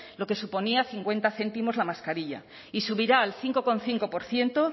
lo que suponía cincuenta céntimos la mascarilla y subirá al cinco coma cinco por ciento